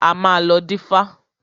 A máa lọ dífá.